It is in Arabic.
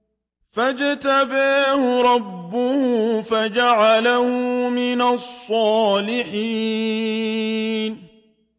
فَاجْتَبَاهُ رَبُّهُ فَجَعَلَهُ مِنَ الصَّالِحِينَ